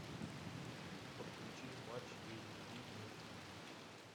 подключи матч эйч ди на тиви